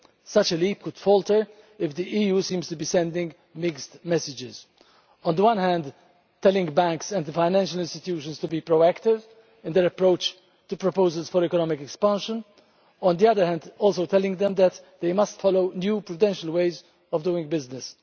Such a leap could falter if the EU seems to be sending mixed messages on the one hand telling banks and the financial institutions to be proactive in their approach to proposals for economic expansion, and on the other hand also telling them that they must follow new prudential ways of doing business.